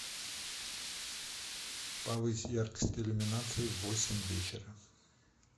повысь яркость иллюминации в восемь вечера